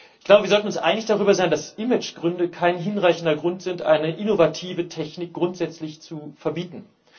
Ich glaube, wir sollten uns einig darüber sein, dass das Image kein hinreichender Grund dafür ist, eine innovative Technik grundsätzlich zu verbieten.